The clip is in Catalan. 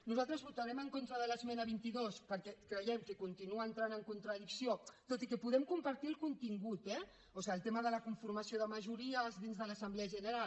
nosaltres votarem en contra de l’esmena vint dos perquè creiem que continua entrant en contradicció tot i que podem compartir ne el contingut eh o sigui el tema de la conformació de majories dins de l’assemblea general